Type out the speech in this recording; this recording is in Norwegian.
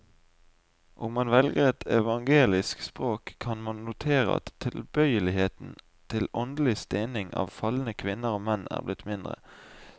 Om man velger et evangelisk språk, kan man notere at tilbøyeligheten til åndelig stening av falne kvinner og menn er blitt mindre.